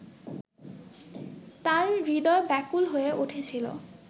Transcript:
তাঁর হূদয় ব্যাকুল হয়ে উঠেছিল